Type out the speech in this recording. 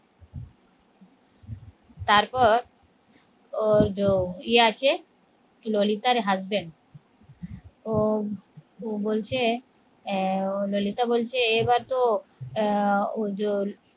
তারপর ওই যো ইয়ে আছে ললিতার husband ও বলছে আহ লোলিত বলছে এবার তো আহ ওজন